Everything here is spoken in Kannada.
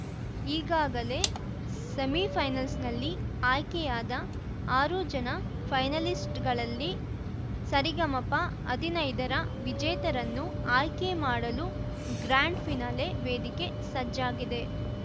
ಈಗಾಗಲೇ ಸೆಮಿಫೈನಲ್ಸ್‌ನಲ್ಲಿ ಆಯ್ಕೆಯಾದ ಆರು ಜನ ಫೈನಲಿಸ್ಟ್‌ಗಳಲ್ಲಿ ಸರಿಗಮಪಹದಿನೈದರ ವಿಜೇತರನ್ನು ಆಯ್ಕೆಮಾಡಲು ಗ್ರಾಂಡ್‌ ಫಿನಾಲೆ ವೇದಿಕೆ ಸಜ್ಜಾಗಿದೆ